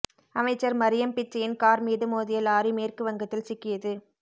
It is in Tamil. அமைச்சர் மரியம் பிச்சையின் கார் மீது மோதிய லாரி மேற்கு வங்கத்தில் சிக்கியது